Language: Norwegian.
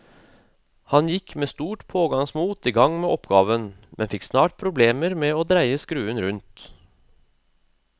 Han gikk med stort pågangsmot i gang med oppgaven, men fikk snart problemer med å dreie skruen rundt.